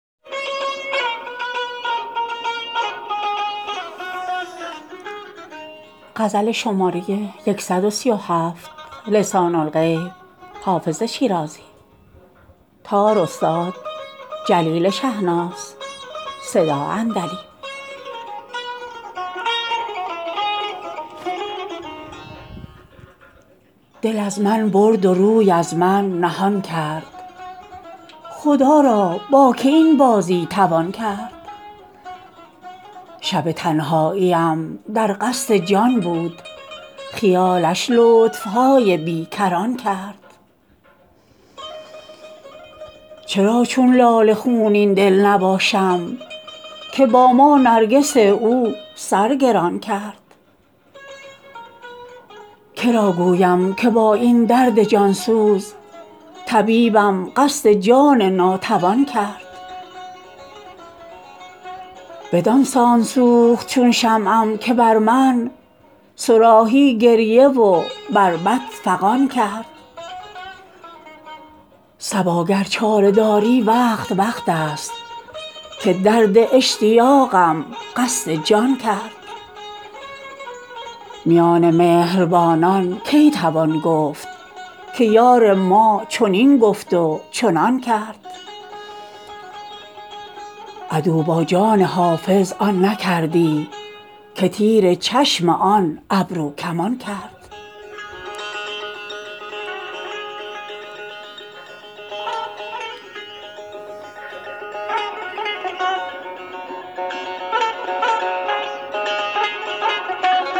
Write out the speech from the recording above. دل از من برد و روی از من نهان کرد خدا را با که این بازی توان کرد شب تنهاییم در قصد جان بود خیالش لطف های بی کران کرد چرا چون لاله خونین دل نباشم که با ما نرگس او سر گران کرد که را گویم که با این درد جان سوز طبیبم قصد جان ناتوان کرد بدان سان سوخت چون شمعم که بر من صراحی گریه و بربط فغان کرد صبا گر چاره داری وقت وقت است که درد اشتیاقم قصد جان کرد میان مهربانان کی توان گفت که یار ما چنین گفت و چنان کرد عدو با جان حافظ آن نکردی که تیر چشم آن ابروکمان کرد